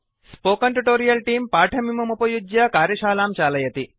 spoken tutorial तेऽं पाठमिममुपयुज्य कार्यशालां चालयति